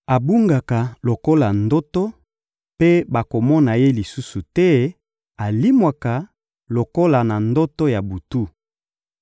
Abungaka lokola ndoto, mpe bakomona ye lisusu te, alimwaka lokola na ndoto ya butu.